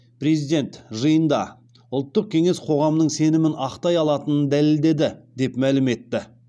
президент жиында ұлттық кеңес қоғамның сенімін ақтай алатынын дәлелдеді деп мәлім етті